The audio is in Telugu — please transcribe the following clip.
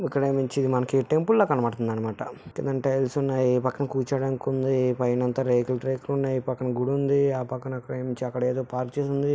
ఇక్కడ ఎముంచి మనకి టెంపుల్ లా కనబడుతుంది అన్నమాట. కింద టైల్స్ ఉన్నాయి. పక్కన కూర్చోవడానికి ఉంది. పైయినంత రేకులు రేకులు ఉన్నాయి. పక్కన గుడి ఉంది. ఆ పక్కన ఎముంచి ఏదో పార్క్ చేసి ఉంది.